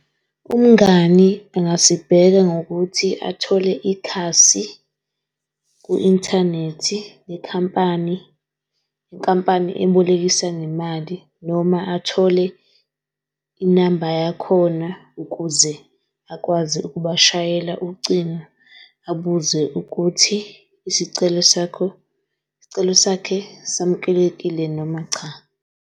Umngani engasibheka ngokuthi athole ikhasi ku-inthanethi le khampani, le nkampani ebolekisa ngemali noma athole inamba yakhona ukuze akwazi ukuba shayela ucingo. Abuze ukuthi isicelo sakho, isicelo sakhe samkelekile noma cha.